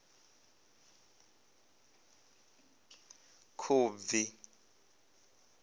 khubvi